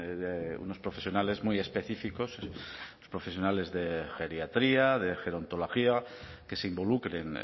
de unos profesionales muy específicos los profesionales de geriatría de gerontología que se involucren